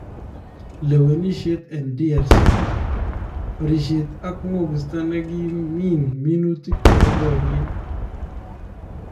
Lewenishet en DRC :Barisheet ak ngookista nekimiin minuutik chebo baryeet